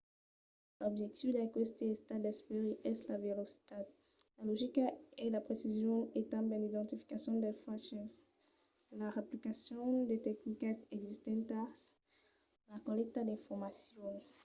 l'objectiu d’aqueste estat d'esperit es la velocitat la logica e la precision e tanben l'identificacion dels faches la reaplicacion de tecnicas existentas la collècta d’informacion